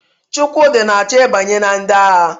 Chukwudi na-achọ ịbanye na ndị agha.